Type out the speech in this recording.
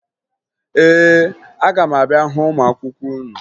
Ee, aga m abịa hụ ụmụ akwụkwọ unu